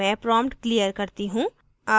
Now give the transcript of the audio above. मैं prompt clear करती हूँ